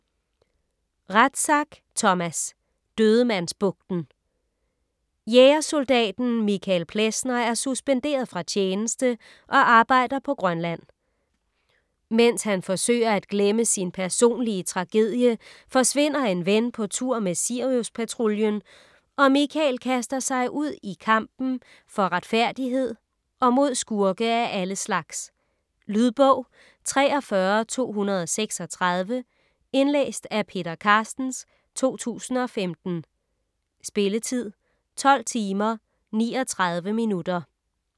Rathsack, Thomas: Dødemandsbugten Jægersoldaten Michael Plessner er suspenderet fra tjeneste og arbejder på Grønland. Mens han forsøger at glemme sin personlige tragedie, forsvinder en ven på tur med Siriuspatruljen og Michael kaster sig ud i kampen for retfærdighed og mod skurke af alle slags. Lydbog 43236 Indlæst af Peter Carstens, 2015. Spilletid: 12 timer, 39 minutter.